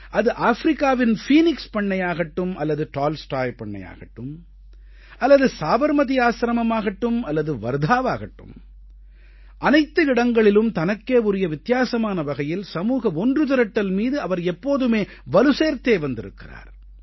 அது ஆப்பிரிக்காவின் ஃபீனிக்ஸ் பண்ணையாகட்டும் அல்லது டால்ஸ்டாய் பண்ணையாகட்டும் அல்லது சாபர்மதி ஆசிரமம் ஆகட்டும் அல்லது வர்த்தாவாகட்டும் அனைத்து இடங்களிலும் தனக்கே உரிய வித்தியாசமான வகையில் சமூக ஒன்றுதிரட்டல் மீது அவர் எப்போதுமே வலுசேர்த்தே வந்திருக்கிறார்